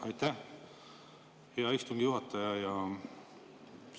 Aitäh, hea istungi juhataja!